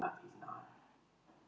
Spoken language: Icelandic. Hálftíma leið til himnaríkis.